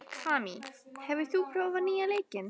Kamí, hefur þú prófað nýja leikinn?